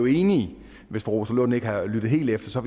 enige hvis fru rosa lund nu ikke har lyttet helt efter